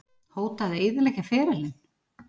Hóta að eyðileggja ferilinn?